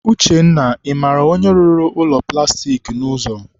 Uchenna, ị mara onye rụrụ ụlọ plastik a n'ụzọ?